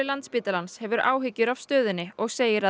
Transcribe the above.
Landspítalans hefur áhyggjur af stöðunni og segir